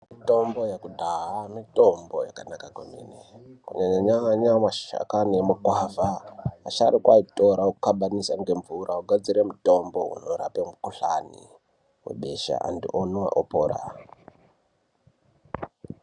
Mitombo yekudhaya mitombo yakanaka kwemene kunyanya nyanya mashakani emugwavha ,asharukwa aitora okabanisa ngemvura ogadzira mutombo unorape mukuhlane mabesha andhu omwa opora.